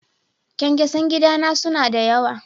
Kyankyasan gida na suna da yawa.